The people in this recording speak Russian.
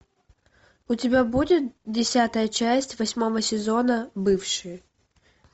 у тебя будет десятая часть восьмого сезона бывшие